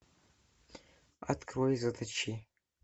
открой заточи